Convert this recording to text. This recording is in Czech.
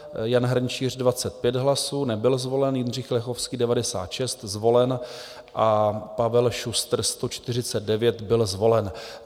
Jan Hrnčíř 25 hlasů, nebyl zvolen, Jindřich Lechovský 96, zvolen, a Pavel Šustr 149, byl zvolen.